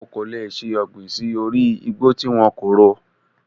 O kò lè ṣe ọ̀gbìn sí orí igbó tí wọn kò ro.